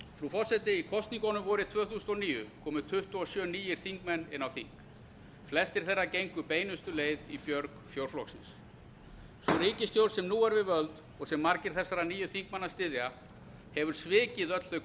frú forseti í kosningunum vorið tvö þúsund og níu komu tuttugu og sjö nýir þingmenn inn á þing flestir þeirra gengu beinustu leið í björg fjórflokksins sú ríkisstjórn sem nú er við völd og sem margir þessara nýju þingmanna styðja hefur svikið öll þau